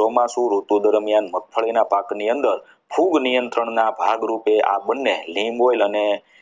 ચોમાસુ ઋતુ દરમિયાન મગફળીના પાકની અંદર ફૂગ નિયંત્રણના ભાગરૂપે આ બંને linkoil અને